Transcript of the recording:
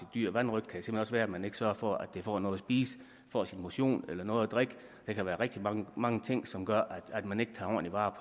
dyr vanrøgt kan også være at man ikke sørger for at det får noget at spise får sin motion eller noget at drikke der kan være rigtig mange mange ting som gør at man ikke tager ordentlig vare